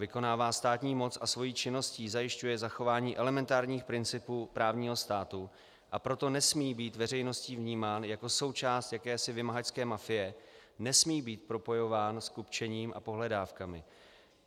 Vykonává státní moc a svou činností zajišťuje zachování elementárních principů právního státu, a proto nesmí být veřejností vnímán jako součást jakési vymahačské mafie, nesmí být propojován s kupčením s pohledávkami.